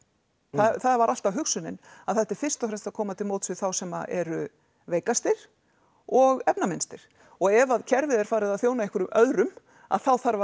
það var alltaf hugsunin að þetta er fyrst og fremst að koma til móts við þá sem eru veikastir og efnaminnstir og ef að kerfið er farið að þjóna einhverjum öðrum að þá þarf